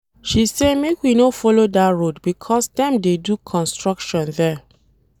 She say make we no follow dat road because dem dey do construction there.